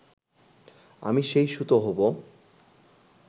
আমি সেই সুতো হবো